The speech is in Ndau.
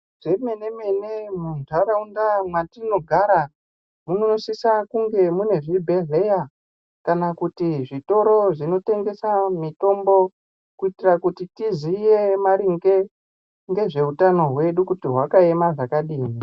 Zvemene mene muntaraunda mwatinogara munosisa kunge mune zvibhedhleya kana kuti zvitoro zvinotengese mitombo kuitira kuti tiziye maringe ngezveutano hwedu kuti hwakamira zvakadini.